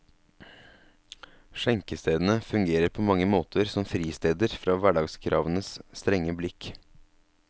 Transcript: Skjenkestedene fungerer på mange måter som fristeder fra hverdagskravenes strenge blikk.